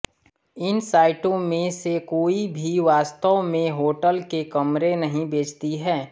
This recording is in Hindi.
इन साइटों में से कोई भी वास्तव में होटल के कमरे नहीं बेचतीं हैं